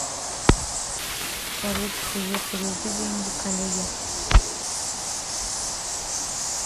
салют привет переведи деньги коллеге